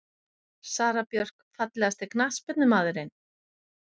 Sara Björk Fallegasti knattspyrnumaðurinn?